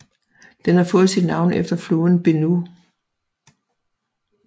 Den har fået sit navn efter floden Benue